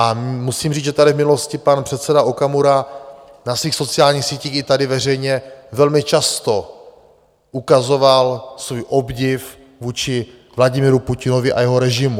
A musím říct, že tady v minulosti pan předseda Okamura na svých sociálních sítích i tady veřejně velmi často ukazoval svůj obdiv vůči Vladimiru Putinovi a jeho režimu.